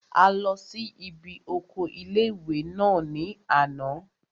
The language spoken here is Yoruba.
A lọ sí ibi oko ilé-ìwé náà ní àná